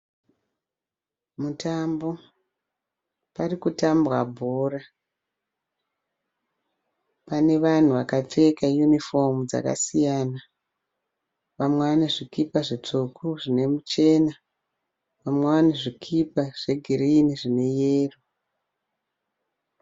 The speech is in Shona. Mutambo, parikutambwa bhora pane vanhu vakapfeka unifomu dzakasiyana. Vamwe vanezvikipa zvitsvuku zvine chena vamwe vane zvikipa zvegirini zvine yero.